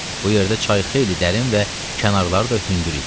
Bu yerdə çay xeyli dərin və kənarları da hündür idi.